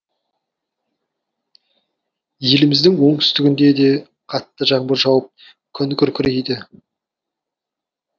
еліміздің оңтүстігінде де қатты жаңбыр жауып күн күркірейді